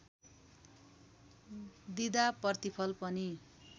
दिँदा प्रतिफल पनि